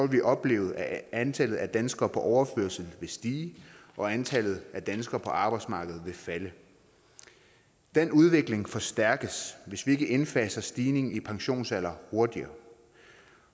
vi opleve at antallet af danskere på overførsel vil stige og antallet af danskere på arbejdsmarkedet vil falde den udvikling forstærkes hvis vi ikke indfaser stigning i pensionsalderen hurtigere